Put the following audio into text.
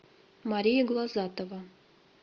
мария глазатова